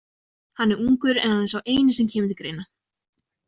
Hann er ungur en hann er sá eini sem kemur til greina.